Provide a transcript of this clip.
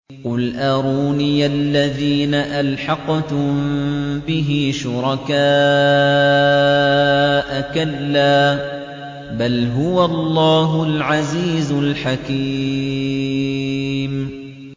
قُلْ أَرُونِيَ الَّذِينَ أَلْحَقْتُم بِهِ شُرَكَاءَ ۖ كَلَّا ۚ بَلْ هُوَ اللَّهُ الْعَزِيزُ الْحَكِيمُ